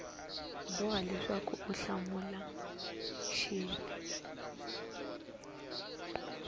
boha leswaku u hlamula xin